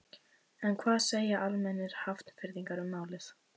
En hvað segja almennir Hafnfirðingar um málið?